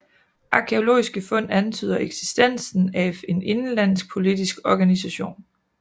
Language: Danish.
Arkæologiske fund antyder eksistensen af en indenlandsk politisk organisation